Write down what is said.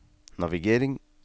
navigering